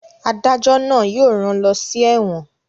Adájọ́ náà yóò rán lọ sí ẹ́wọ̀n